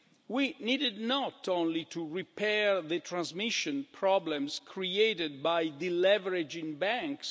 We needed not only to repair the transmission problems created by deleveraging banks.